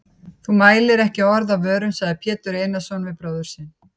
Þú mælir ekki orð af vörum, sagði Pétur Einarsson við bróður sinn.